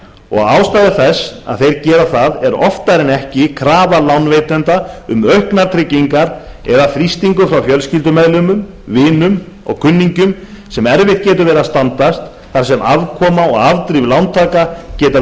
og ástæður þess að þeir gera það er oftar en ekki krafa lánveitenda um auknar tryggingar eða þrýstingur frá fjölskyldumeðlimum vinum og kunningjum sem erfitt getur verið að standast þar sem afkoma og afdrif lántaka geta verið